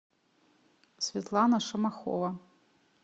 светлана шамахова